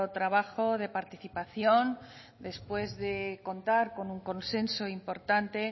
trabajo de participación después de contar con un consenso importante